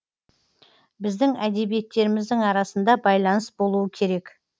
біздің әдебиеттеріміздің арасында байланыс болуы керек